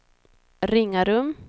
Ringarum